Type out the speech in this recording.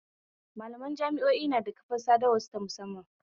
Malaman jami'o'i nada kafar sadawar su ta musamman